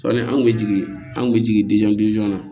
Sɔni an kun bɛ jigin an kun bɛ jigin na